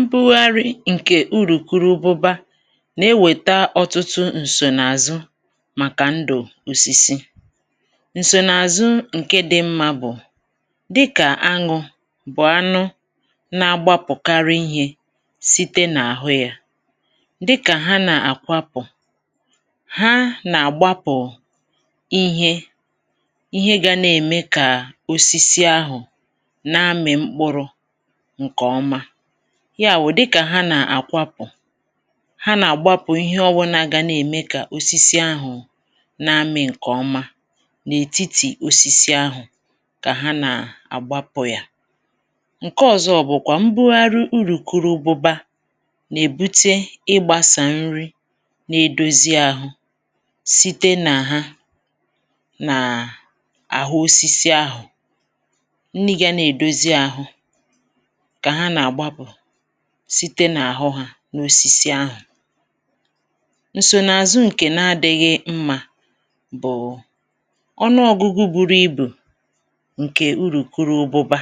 Mbụgharị̀ ǹkè urùkurubụba nà-ewèta ọtụtụ ǹsònààzụ màkà ndụ̀ òsìsì, ǹsònààzụ ǹke dị̇ mmȧ bụ̀ dịkà anụ̇ bụ̀ anụ na-agbapụ̀karị̀ ihe site n’àhụ yȧ dịkà ha nà-àkwapụ̀ ha nà-àgbapụ̀ ihe ihe gȧ na-ème kà osisi ahụ̀ na-amị̀ mkpụrụ̇ nke oma, yawụ̀ dịkà ha nà-àkwapụ̀ ha nà-àgbapụ̀ ihe ọwụnà ga na-ème kà osisi ahụ̀ na-amị̇̀ ǹkèọma n’ètitì osisi ahụ̀ kà ha nà-àgbapụ̀ yà, ǹkè ọ̀zọ bụ̀kwà mbụhari urùkurubụba nà-èbute ịgbȧsà nri nà-èdozi ȧhụ̇ site nà ha nàà àhụ osisi ahụ̀ nni ga nà-èdozi ȧhụ̇ ka ha ná-ágbapù site n’àhụ ha n’osisi ahụ̀, ǹsònààzụ ǹkè na-adị̇ghị̇ mmȧ bụ̀ ọnụọ̇gụ̇gụ̇ buru ibù ǹkè urù kuru obụbȧ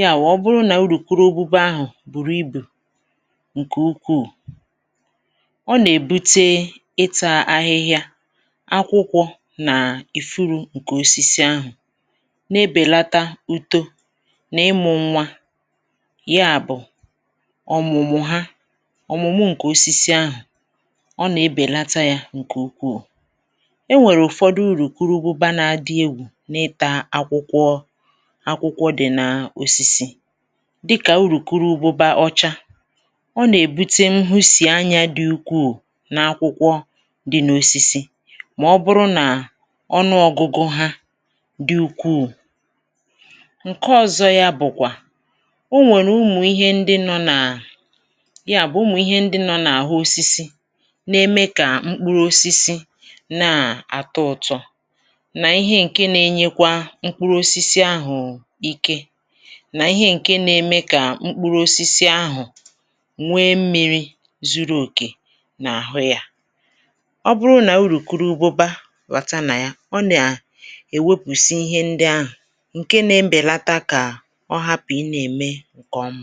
ya wụ̀ ọ bụrụ nà urùkurubụba ahụ̀ bùrù ibù ǹkè ukwuù ọ nà-èbute ịtȧ ahịhịa akwụkwọ̇ nà ìfuru̇ ǹkè osisi ahụ̀ na-ebèlata uto na imụ nwa ya bụ̀ ọ̀mụ̀mụ̀ ha ọ̀mụ̀mụ ǹkè osisi ahụ̀ ọ nà-ebèlata yȧ ǹkè ukwuù, enwèrè ụ̀fọdụ urùkurubụba na-adị egwù n’ịtȧ akwụkwọ akwụkwọ dị̀ n’osisi dịkà urùkurubụba ọcha ọ nà-èbute nhụ̇ sì anya dị̇ ukwù n’akwụkwọ dị̇ n’osisi mà ọ bụrụ nà ọnụọgụgụ ha dị ukwù, ǹke ọ̀zọ ya bụ̀kwà o nwèrè umù ihe ndị nọ̇ nà yà bụ̀ umù ihe ndị nọ̇ n’àhụ osisi na-eme kà mkpuru osisi na-àtọ ụtọ̇ nà ihe ǹke nȧ-ėnyekwa mkpuru osisi ahụ̀ ike nà ihe ǹke nȧ-ėmė kà mkpuru osisi ahụ̀ nwee mmi̇ri̇ zuru òkè n’àhụ yȧ, ọ bụrụ nà urùkurubụba bata nà ya ọ nà èwopùsi ihe ndị ahụ̀ ǹke na-bèlata kà ọhapụ ịna eme nkè ọma.